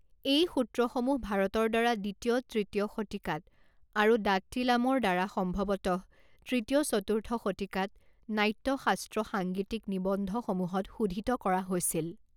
এই সূত্ৰসমূহ ভাৰতৰ দ্বাৰা দ্বিতীয় তৃতীয় শতিকাত আৰু দাত্তিলামৰ দ্বাৰা সম্ভৱতঃ তৃতীয় চতুৰ্থ শতিকাত নাট্য শাস্ত্ৰ সাংগীতিক নিবন্ধসমূহত শোধিত কৰা হৈছিল।